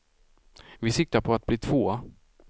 Vi siktar på att bli tvåa.